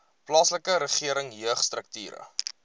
plaaslike regering jeugstrukture